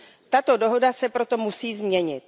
Tato dohoda se proto musí změnit.